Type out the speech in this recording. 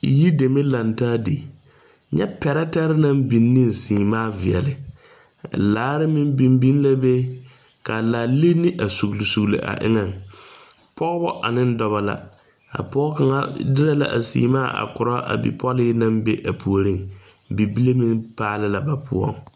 Yi dɛmɛ laŋ taa di. Nyɛ pɛrɛtɛre naŋ biŋ ne semaa viɛle. Laare meŋ biŋ biŋ la be. Ka laa line a sugle sugle a eŋɛŋ. Pɔgɔbɔ ane dɔbɔ la. A pɔgɔ kanga dere la a semaa a koro a bipɔle na be a pooreŋ. Bibile meŋ paali la ba poʊŋ.